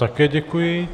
Také děkuji.